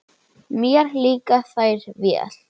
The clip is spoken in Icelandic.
Mér líka þær vel.